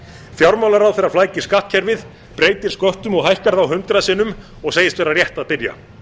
fjármálaráðherra flækir skattkerfið breytir sköttum og hækkar þá hundrað sinnum og segist vera rétt að byrja